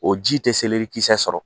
O ji tɛ selerikisɛ sɔrɔ